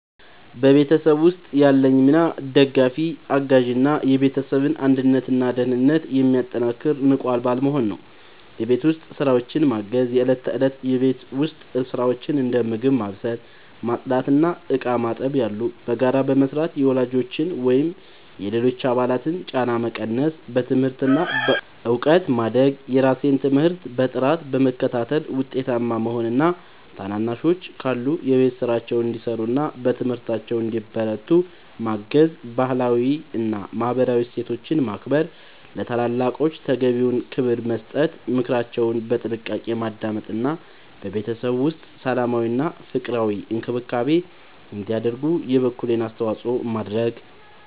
በቤተሰብ ውስጥ ያለኝ ሚና ደጋፊ፣ አጋዥ እና የቤተሰብን አንድነትና ደህንነት የሚያጠናክር ንቁ አባል መሆን ነው። የቤት ውስጥ ስራዎችን ማገዝ፦ የእለት ተእለት የቤት ውስጥ ስራዎችን (እንደ ምግብ ማብሰል፣ ማጽዳት እና ዕቃ ማጠብ ያሉ) በጋራ በመስራት የወላጆችን ወይም የሌሎች አባላትን ጫና መቀነስ። በትምህርት እና በእውቀት ማደግ፦ የራሴን ትምህርት በጥራት በመከታተል ውጤታማ መሆን እና ታናናሾች ካሉ የቤት ስራቸውን እንዲሰሩና በትምህርታቸው እንዲበረቱ ማገዝ። ባህላዊ እና ማህበራዊ እሴቶችን ማክበር፦ ለታላላቆች ተገቢውን ክብር መስጠት፣ ምክራቸውን በጥንቃቄ ማዳመጥ እና በቤተሰብ ውስጥ ሰላማዊና ፍቅራዊ አካባቢ እንዲኖር የበኩሌን አስተዋጽኦ ማድረግ።